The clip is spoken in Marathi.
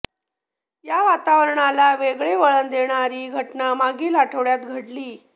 या वातावरणाला वेगळे वळण देणारी घटना मागील आठवड्यात घडली